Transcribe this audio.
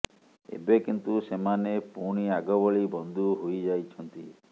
ଏବେ କିନ୍ତୁ ସେମାନେ ପୁଣି ଆଗ ଭଳି ବନ୍ଧୁ ହୋଇଯାଇଛନ୍ତି